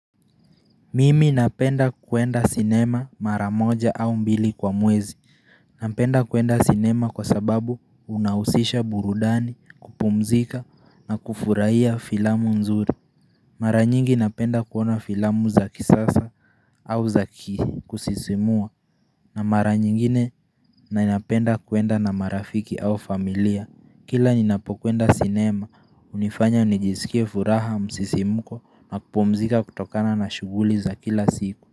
Mimi napenda kuenda sinema mara moja au mbili kwa mwezi. Napenda kuenda sinema kwa sababu unausisha burudani, kupumzika na kufurahia filamu nzuri. Mara nyingi napenda kuona filamu za kisasa au za ki kusisimua na mara nyingine napenda kuenda na marafiki au familia. Kila ninapokwenda sinema, unifanya nijiskie furaha msisimko na kupumzika kutokana na shuguli za kila siku.